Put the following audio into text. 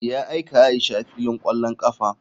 Ya aika aisha filin kwallon kafa.